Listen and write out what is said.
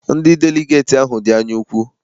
Ndị deligeeti ahụ dị anya ukwu.